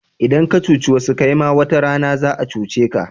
Idan ka cuci wasu kaima wata rana za'a cuce ka.